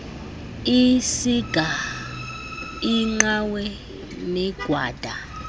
iisiga iinqawe negwada